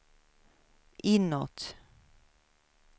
inåt